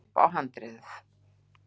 upp á handriðið.